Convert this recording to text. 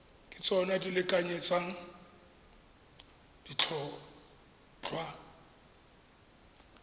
ke tsona di lekanyetsang ditlhotlhwa